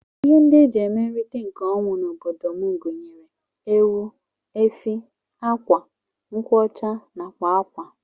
Ihe ndi eji eme nrita nke ọnwụ na obodom gunyere:Ewu, efi, akwa, nkwụ ọcha nakwa akwa.